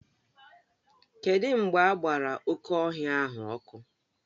Kedụ mgbe agbara oké ọhịa ahụ ọkụ?